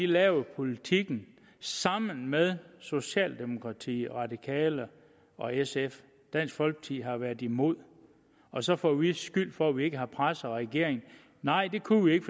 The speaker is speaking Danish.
lavet politikken sammen med socialdemokratiet de radikale og sf dansk folkeparti har været imod og så får vi skyld for at vi ikke har presset regeringen nej det kunne vi ikke